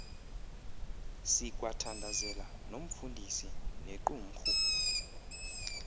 sikwathandazela nomfundisi nequmrhu